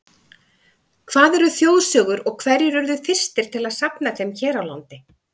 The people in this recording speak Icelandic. Hvað eru þjóðsögur og hverjir urðu fyrstir til að safna þeim hér á landi?